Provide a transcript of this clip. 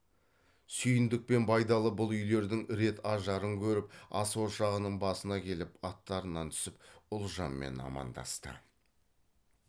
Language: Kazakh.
сүйіндік пен байдалы бұл үйлердің рет ажарын көріп ас ошағының басына келіп аттарынан түсіп ұлжанмен амандасты